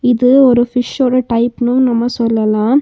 இது ஒரு ஃபிஷ்ஷோட டைப்னும் நம்ம சொல்லலாம்.